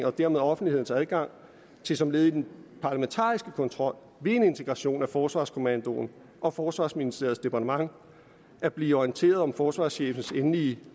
og dermed offentlighedens adgang til som led i den parlamentariske kontrol ved en integration af forsvarsministeriet forsvarskommandoen og forsvarsministeriets departement at blive orienteret om forsvarschefens endelige